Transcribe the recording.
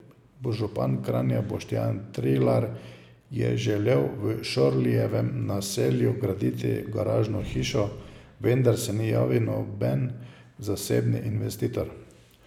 Župan Kranja Boštjan Trilar je želel v Šorlijevem naselju graditi garažno hišo, vendar se ni javil noben zasebni investitor.